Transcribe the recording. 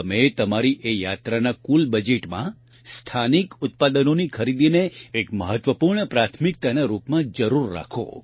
તમે તમારી એ યાત્રાના કુલ બજેટમાં સ્થાનિક ઉત્પાદનોની ખરીદીને એક મહત્વપૂર્ણ પ્રાથમિકતાના રૂપમાં જરૂર રાખો